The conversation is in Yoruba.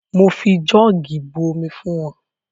Mo fi jọ́ọ̀gì bu omi fún wọn.